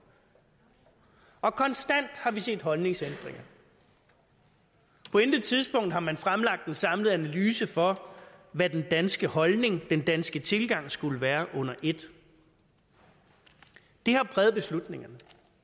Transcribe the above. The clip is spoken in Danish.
og konstant har vi set holdningsændringer på intet tidspunkt har man fremlagt en samlet analyse for hvad den danske holdning den danske tilgang skulle være under et det har præget beslutningerne